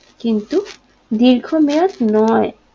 কিন্তু দীর্ঘ মেয়াদ নয়